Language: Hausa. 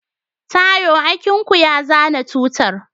Taiwo akinku ya zana tutar.